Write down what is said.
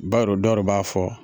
dɔ b'a fɔ